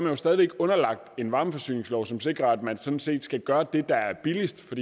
jo stadig væk underlagt en varmeforsyningslov som sikrer at man sådan set skal gøre det der er billigst for